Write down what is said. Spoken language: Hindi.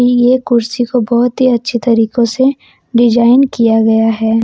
यह कुर्सी को बहुत ही अच्छी तरीकों से डिजाइन किया गया है।